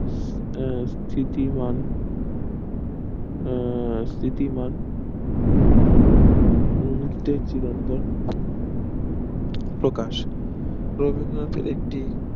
আহ স্থিতিমান আহ স্থিতিমান মুহূর্তের চিরন্তন প্রকাশ প্রমনিওতো একটি